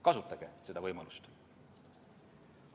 Kasutage seda võimalust!